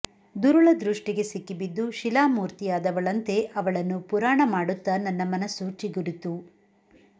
ದುರುಳ ದೃಷ್ಟಿಗೆ ಸಿಕ್ಕಿಬಿದ್ದು ಶಿಲಾಮೂರ್ತಿಯಾದವಳಂತೆ ಅವಳನ್ನು ಪುರಾಣ ಮಾಡುತ್ತ ನನ್ನ ಮನಸ್ಸು ಚಿಗುರಿತು